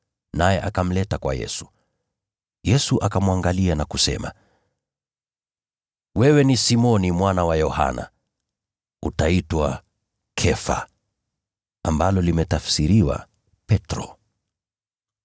Naye akamleta kwa Yesu. Yesu akamwangalia na kusema, “Wewe ni Simoni mwana wa Yohana. Utaitwa Kefa” (ambalo limetafsiriwa Petro ).